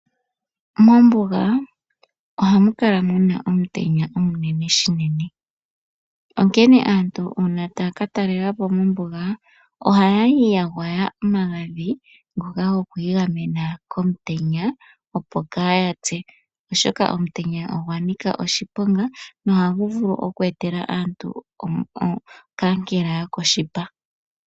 Mombuga ohamu kala muna omutenya omunene shinene. Onkene aantu una taya ka talelapo mombuga ohaya kala ya kala ya gwaya omagadhi goku igamena komutenya opo kaaya pye. Oshoka omutenya ogwa nika oshiponga. Nohagu vulu oku etela aantu okankela yokoshipa.